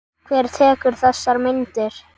Hver tekur þessar myndir?